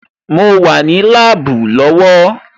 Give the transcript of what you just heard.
Mo wà ní láàbù lọ́wọ́